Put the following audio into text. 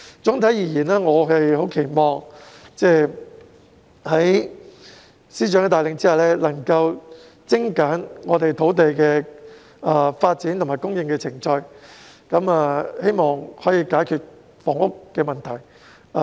總體而言，我們期望在司長的帶領下，土地的發展和供應程序能夠精簡，藉此解決房屋問題。